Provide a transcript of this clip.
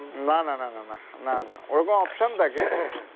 না না না না না না না ওরকম option থাকে